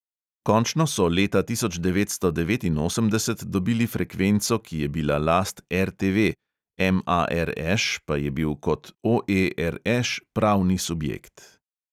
Končno so leta tisoč devetsto devetinosemdeset dobili frekvenco, ki je bila last RTV, MARŠ pa je bil kot OE RŠ pravni subjekt.